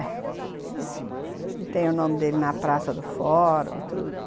É. E tem o nome dele na Praça do Fórum, tudo.